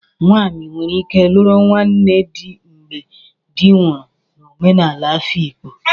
Nwanyi nwere ike luru nwanne di mgbe di nwuru n'omenala Afikpo,